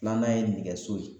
Filanan ye nɛgɛso ye